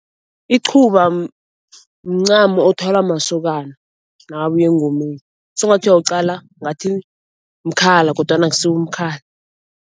Iqhuba mncamo othwalwa masokana nakabuya engomeni. Sengathi uyawuqala ngathi mkhala kodwana akusiwo umkhala.